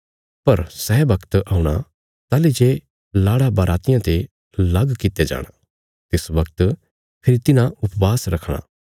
पर सै वगत औणा ताहली जे लाड़ा बरातियां ते लग कित्या जाणा तिस वगत फेरी तिन्हां उपवास रखणा